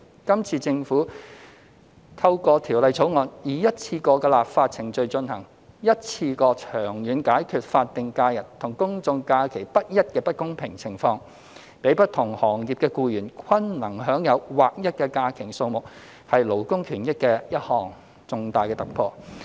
今次政府透過《條例草案》以一次過的立法程序進行，一次過長遠解決法定假日和公眾假期不一的不公平情況，讓不同行業的僱員均能享有劃一的假期數目，是勞工權益的一項重大突破。